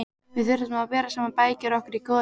Við þyrftum að bera saman bækur okkar í góðu tómi.